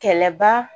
Kɛlɛba